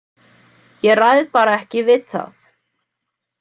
Ég ræð bara ekki við það.